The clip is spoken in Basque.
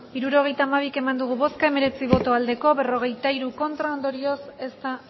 hirurogeita hamabi eman dugu bozka hemeretzi bai berrogeita hiru ez ondorioz ez da